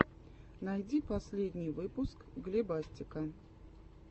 найти последний выпуск глебастика